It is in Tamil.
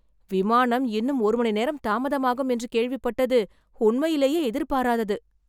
விமானம் இன்னும் ஒரு மணி நேரம் தாமதமாகும் என்று கேள்விப்பட்டது உண்மையிலேயே எதிர்பாராதது.